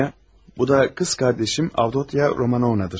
Sonya, bu da kız kardeşim Avdotya Romanovna'dır.